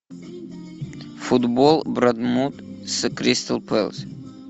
футбол борнмут с кристал пэлас